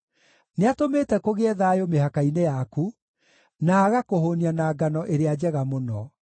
Nĩatũmĩte kũgĩe thayũ mĩhaka-inĩ yaku, na agakũhũũnia na ngano ĩrĩa njega mũno.